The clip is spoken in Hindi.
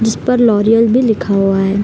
जिस पर लॉरियल भी लिखा हुआ है।